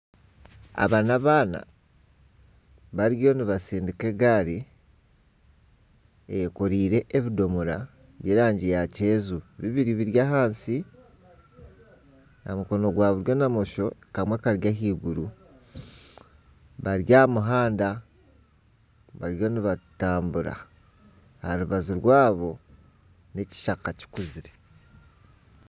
Aba n'abaana bariyo nibatsindika egaari eyenkoriire n'ebidomora by'erangi ya kyenju bibiri biri ahansi aha mukono gwa buryo na bumosho kamwe kari ahaiguru bari aha muhanda bariyo nibatambura aha rubaju rwabo n'ekishaka kikuzire